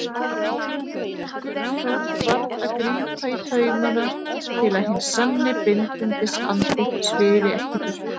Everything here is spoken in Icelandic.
Gunnþór varð að grípa í taumana til að hinn sanni bindindisandi svifi ekki burtu.